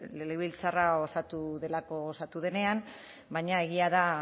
legebiltzarra osatu delako osatu denean baina egia da